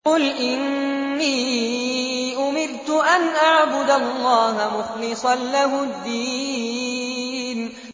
قُلْ إِنِّي أُمِرْتُ أَنْ أَعْبُدَ اللَّهَ مُخْلِصًا لَّهُ الدِّينَ